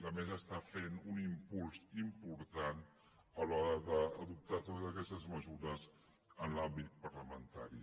la mesa està fent un impuls important a l’hora d’adoptar totes aquestes mesures en l’àmbit parlamentari